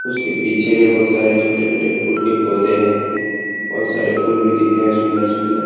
उसके पीछे में बहुत सारे छोटे-छोटे फूल के पौधे हैं बहुत सारे फूल भी दिख रहे हैं सुन्दर-सुन्दर।